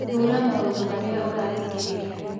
Thura maũndũ marĩa ũrathikĩrĩria